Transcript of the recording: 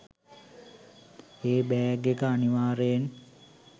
ඒ bag එක අනිවාර්යෙන්